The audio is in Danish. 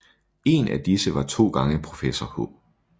En af disse var to gange professor H